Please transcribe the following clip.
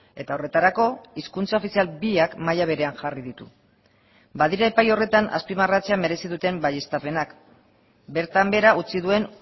eta horretarako hizkuntza ofizial biak maila berean jarri ditu badira epai horretan azpimarratzea merezi duten baieztapenak bertan behera utzi duen